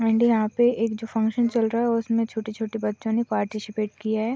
And यहाँ पे जो फंक्शन चल रहा है उसमें छोटे छोटे बच्चों ने पार्टीसिपेट किया है।